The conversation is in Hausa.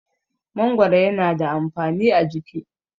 mangoro yana da amfani a jiki